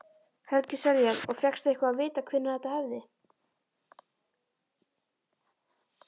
Helgi Seljan: Og fékkstu eitthvað að vita hvenær þetta hefði?